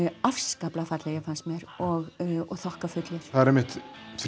afskaplega fallegir fannst mér og það er einmitt